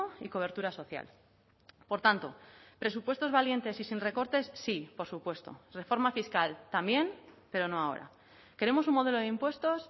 y cobertura social por tanto presupuestos valientes y sin recortes sí por supuesto reforma fiscal también pero no ahora queremos un modelo de impuestos